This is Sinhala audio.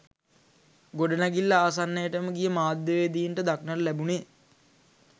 ගොඩනැඟිල්ල ආසන්නයටම ගිය මාධ්‍යවේදීන්ට දක්නට ලැබුණේ